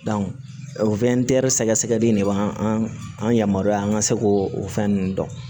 o sɛgɛsɛgɛli in de b'an an yamaruya an ka se k'o fɛn ninnu dɔn